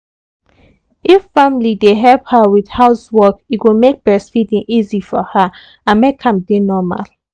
if family dey help her with house work e go make breastfeeding easy for her and make am dey normal